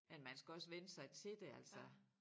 Men man skal også vænne sig til det altså